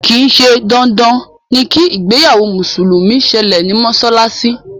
kìí ṣe dandan ni kí ìgbéyàwó mùsùlùmí sẹlẹ̀ ní mọ́sálásí